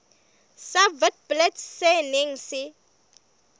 sa witblits se neng se